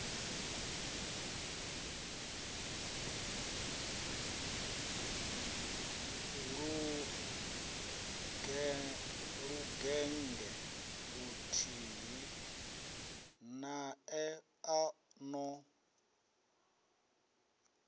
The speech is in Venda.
lugennge luthihi nae a no